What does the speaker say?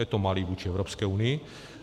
Je to malý vůči Evropské unii.